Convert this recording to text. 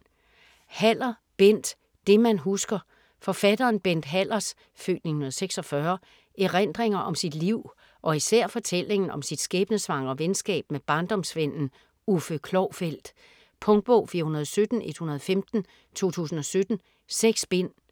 Haller, Bent: Det man husker Forfatteren Bent Hallers (f. 1946) erindringer om sit liv og især fortællingen om sit skæbnesvangre venskab med barndomsvennen Uffe Klovfeldt. Punktbog 417115 2017. 6 bind.